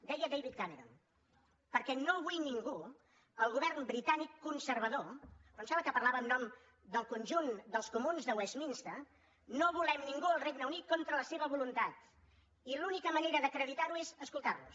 deia david cameron perquè no vull ningú el govern britànic conservador em sembla que parlava en nom del conjunt dels comuns de westminster no volem ningú al regne unit contra la seva voluntat i l’única manera d’acreditar ho és escoltar los